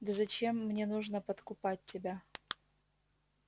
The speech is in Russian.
да зачем мне нужно подкупать тебя